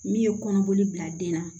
Min ye kɔnɔboli bila den na